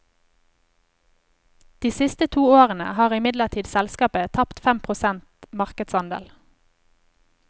De siste to årene har imidlertid selskapet tapt fem prosent markedsandel.